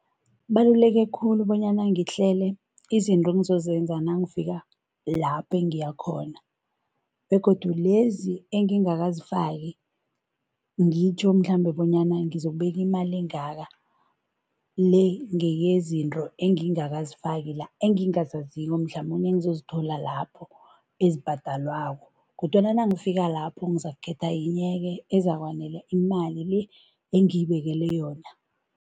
Kubaluleke khulu bonyana ngihlele izinto engizozenza nangifika lapho engiya khona begodu lezi engingakazifaki, ngitjho mhlambe bonyana ngizokubeka imali engaka, le ngeyezinto engingakazifaki la, engingazaziko mhlamunye engizozithola lapho ezibhadalwako kodwana nangifika lapho ngizakukhetha yinye-ke ezakwanela imali le engiyibekela yona.